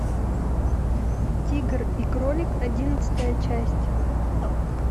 тигр и кролик одиннадцатая часть